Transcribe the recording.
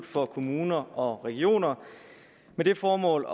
for kommuner og regioner med det formål